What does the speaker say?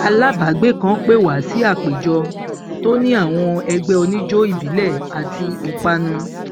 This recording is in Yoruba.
alábàágbé kan pè wá sí àpéjọ tó ní àwọn ẹgbẹ oníjó ìbílẹ àti ìpanu